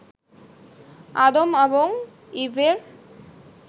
আদম এবং ঈভের